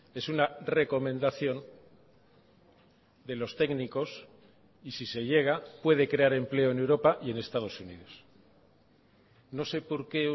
es una recomendación de los técnicos y si se llega puede crear empleo en europa y en estados unidos no sé por qué